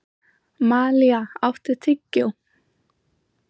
Malía, áttu tyggjó?